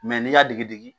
Mɛ n'i y'a digi digi